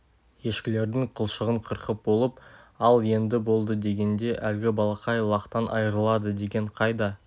ешкілердің қылшығын қырқып болып ал енді болды дегенде әлгі балақай лақтан айырылады деген қайда